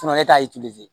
e t'a